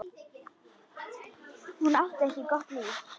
Hún átti ekki gott líf.